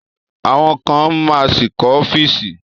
Àwọn kan ma ṣì kọ́ ọ́fíìsì